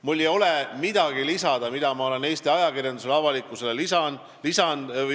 Mul ei ole midagi lisada sellele, mida ma olen Eesti ajakirjandusele ja avalikkusele öelnud.